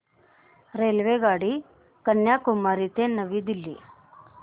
रेल्वेगाडी कन्याकुमारी ते नवी दिल्ली